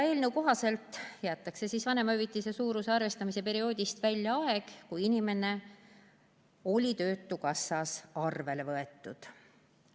Eelnõu kohaselt jäetakse vanemahüvitise suuruse arvestamise perioodist välja aeg, kui inimene oli töötukassas arvele võetud.